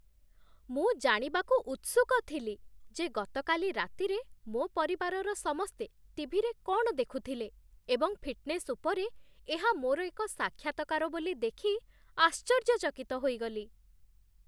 ମୁଁ ଜାଣିବାକୁ ଉତ୍ସୁକ ଥିଲି ଯେ ଗତକାଲି ରାତିରେ ମୋ ପରିବାରର ସମସ୍ତେ ଟି.ଭି.ରେ କ'ଣ ଦେଖୁଥିଲେ, ଏବଂ ଫିଟ୍‌ନେସ୍ ଉପରେ ଏହା ମୋର ଏକ ସାକ୍ଷାତ୍କାର ବୋଲି ଦେଖି ଆଶ୍ଚର୍ଯ୍ୟଚକିତ ହୋଇଗଲି!